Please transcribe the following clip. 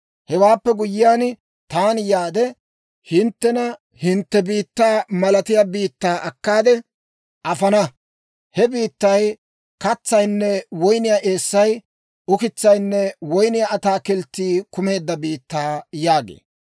Hewaappe guyyiyaan taani yaade, hinttena hintte biittaa malatiyaa biittaa akkaade afana. He biittay katsaynne woyniyaa eessay, ukitsaynne woyniyaa ataakilttii kumeedda biittaa› yaagee.